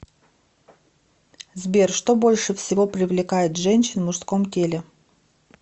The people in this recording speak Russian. сбер что больше всего привлекает женщин в мужском теле